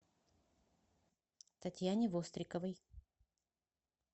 татьяне востриковой